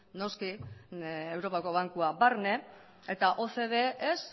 noski europako bankua barne eta ocde ez